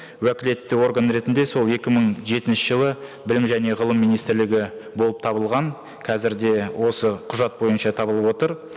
уәкілетті орган ретінде сол екі мың жетінші жылы білім және ғылым министрлігі болып табылған қазір де осы құжат бойынша табылып отыр